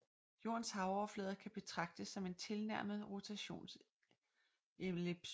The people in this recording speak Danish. Jordens havoverflade kan betraktes som en tilnærmet rotationsellipsoide